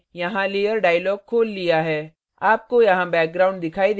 आपको यहाँ background दिखाई देगा जो हमारी मूल image है